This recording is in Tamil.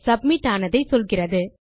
சப்மிட் ஆனதை சொல்லுகிறது